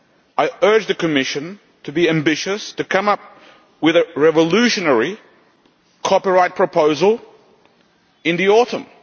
I urge the Commission to be ambitious and to come up with a revolutionary copyright proposal in the autumn.